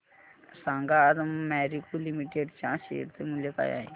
सांगा आज मॅरिको लिमिटेड च्या शेअर चे मूल्य काय आहे